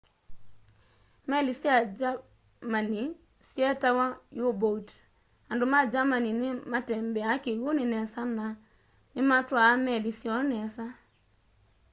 meli sya germany syeetawa u-boat andu ma germany ni matembeaa kiwuni nesa na nimatwaa meli syoo nesa